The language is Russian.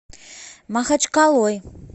махачкалой